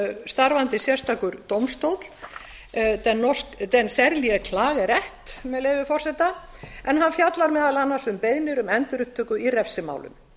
starfandi sérstakur dómstóll den særlige klageret með leyfi forseta en hann fjallar meðal annars um beiðnir um endurupptöku í refsimálum